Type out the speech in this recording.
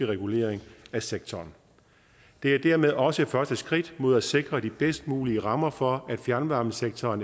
regulering af sektoren det er dermed også første skridt mod at sikre de bedst mulige rammer for at fjernvarmesektoren